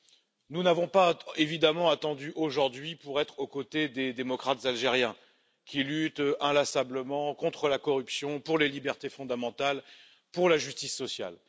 Évidemment, nous n'avons pas attendu aujourd'hui pour être aux côtés des démocrates algériens qui luttent inlassablement contre la corruption, pour les libertés fondamentales et pour la justice sociale.